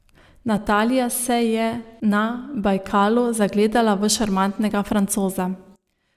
Natalija se je na Bajkalu zagledala v šarmantnega Francoza.